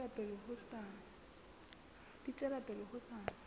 di tswela pele ho sa